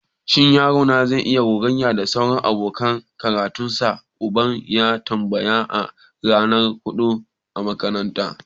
Shin yaro na zai iya gogayya da sauran abokan karatunsa? Uban ya tambaya a ranar buɗe makaranta.